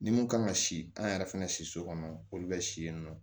Ni mun kan ka si an yɛrɛ fɛnɛ si so kɔnɔ olu bɛ si yen nɔ